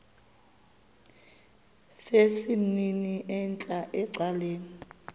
sesimnini entla ecaleni